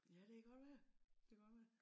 Ja det kan godt være det kan godt være